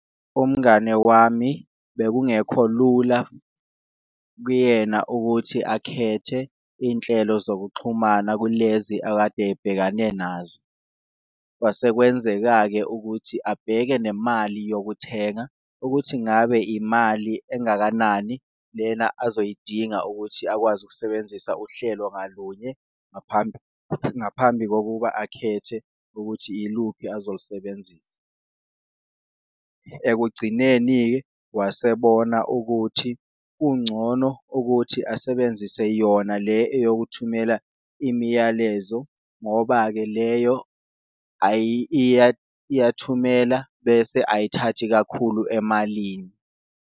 Umngane wami bekungekho lula kuyena ukuthi akhethe inhlelo zokuxhumana kulezi akade abhekane nazo, kwase kwenzeka-ke ukuthi abheke nemali yokuthenga ukuthi ngabe imali engakanani lena azoyidinga ukuthi akwazi ukusebenzisa uhlelo ngalunye, ngaphambi ngaphambi kokuba akhethe ukuthi iluphi azolusebenzisa. Ekugcineni-ke wase ebona ukuthi kungcono ukuthi asebenzise yona le eyokuthumela imiyalezo ngoba-ke leyo iyathumela bese ayithathi kakhulu emalini.